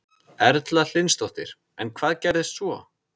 Erla Hlynsdóttir: En hvað gerðist svo?